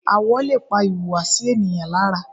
Àwọ̀ lè pa ìhùwàsí ènìyàn lára.